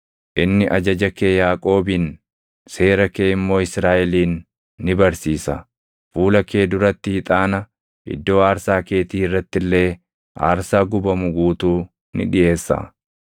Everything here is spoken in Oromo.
Inni ajaja kee Yaaqoobin, seera kee immoo Israaʼelin ni barsiisa. Fuula kee duratti ixaana, iddoo aarsaa keetii irratti illee aarsaa gubamu guutuu ni dhiʼeessa.